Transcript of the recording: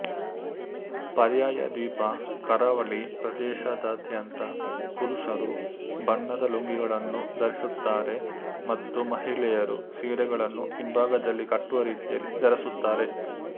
ಪರ್ಯಾಯ ದ್ವೀಪ ಕರಾವಳಿ ಪ್ರದೇಶದಾದ್ಯಂತ ಪುರುಷರು ಬಣ್ಣದ ಲುಂಗಿಗಳನ್ನು ಧರಿಸುತ್ತಾರೆ ಮತ್ತು ಮಹಿಳೆಯರು ಸೀರೆಗಳನ್ನು ಹಿಂಭಾಗದಲ್ಲಿ ಕಟ್ಟುವ ರೀತಿಯಲ್ಲಿ ಧರಿಸುತ್ತಾರೆ